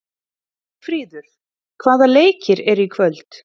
Geirfríður, hvaða leikir eru í kvöld?